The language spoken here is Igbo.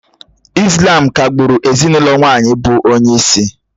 Ị́slám ka-gbụ́ru ezinụlọ nwaanyị bụ onyeisi